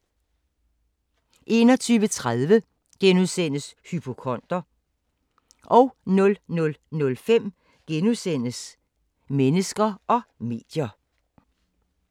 21:30: Hypokonder * 00:05: Mennesker og medier *